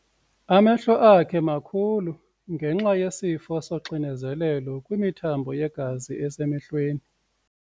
Amehlo akhe makhulu ngenxa yesifo soxinezelelo kwimithambo yegazi esemehlweni.